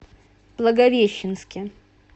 благовещенске